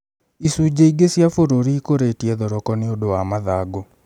Icunji͂ ingi͂ cia bu͂ru͂ri iku͂ri͂tie thoroko ni͂ u͂ndu͂ wa mathangu͂.